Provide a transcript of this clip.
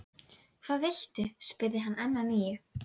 Hvað viltu? spurði hann enn að nýju.